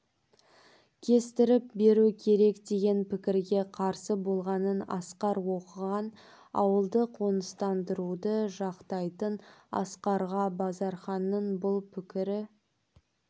кестіріп беру керек деген пікірге қарсы болғанын асқар оқыған ауылды қоныстандыруды жақтайтын асқарға базарханның бұл пікірі